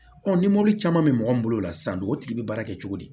ni mɔbili caman be mɔgɔ min bolo la san don o tigi be baara kɛ cogo di